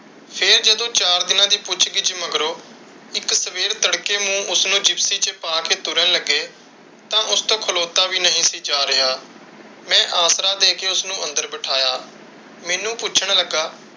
ਫਿਰ ਜਦੋ ਚਾਰ ਦਿਨਾਂ ਦੀ ਪੁੱਛ ਕਿਛੁ ਮਗਰੋਂ ਇੱਕ ਸਵੇਰ ਤੜਕੇ ਨੂੰ ਉਸਨੂੰ ਜਿਪਸੀ ਚ ਪਾ ਕੇ ਤੁਰਨ ਲੱਗੇ। ਤਾਂ ਉਸਤੋਂ ਖਲੋਤਾ ਵੀ ਨਹੀਂ ਸੀ ਜਾ ਰਿਹਾ। ਮੈਂ ਆਸਰਾ ਦੇ ਕੇ ਉਸਨੂੰ ਅੰਦਰ ਬਿਠਾਇਆ, ਮੈਨੂੰ ਪੁੱਛਣ ਲੱਗਾ,